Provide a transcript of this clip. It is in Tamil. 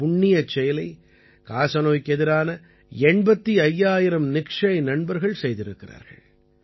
இந்தப் புண்ணியச் செயலை காசநோய்க்கெதிரான 85000 நிக்ஷய் நண்பர்கள் செய்திருக்கிறார்கள்